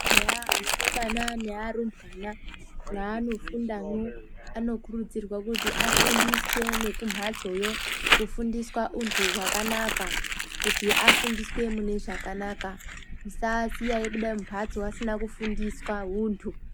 Eya, aasikana nevarumbwana, mwaanofundamo anokurudzirwa kuti afundiswe nokumhatsoyo, kufundiswa untu hwakanaka kuti afundiswe mune zvakanaka. Tisasiya vekubuda mumhatso vasina kufundiswa untu.